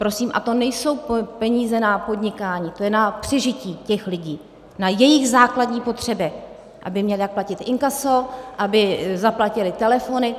Prosím, a to nejsou peníze na podnikání, to je na přežití těch lidí, na jejich základní potřeby, aby měli jak platit inkaso, aby zaplatili telefony.